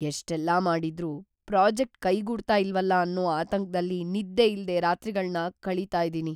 ಎಷ್ಟೆಲ್ಲ ಮಾಡಿದ್ರೂ ಪ್ರಾಜೆಕ್ಟ್‌ ಕೈಗೂಡ್ತಾ ಇಲ್ವಲ ಅನ್ನೋ ಆತಂಕ್ದಲ್ಲಿ ನಿದ್ದೆಯಿಲ್ದೇ ರಾತ್ರಿಗಳ್ನ ಕಳೀತಾ ಇದೀನಿ.